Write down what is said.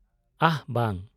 -ᱟᱦ, ᱵᱟᱝ᱾